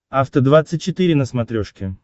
афта двадцать четыре на смотрешке